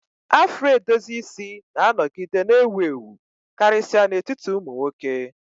Afro edozi isi na-anọgide na-ewu ewu, karịsịa n'etiti ụmụ nwoke.